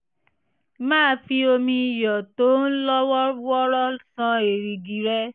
máa fi omi iyọ̀ tó ń lọ́ wọ́ọ́rọ́ ṣan èrìgì rẹ